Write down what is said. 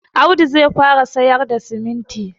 Audu zai fara sayar da siminti